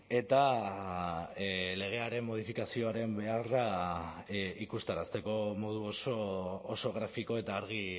eta legearen modifikazioaren beharra ikusarazteko modu oso grafiko eta argi